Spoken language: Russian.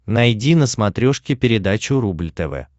найди на смотрешке передачу рубль тв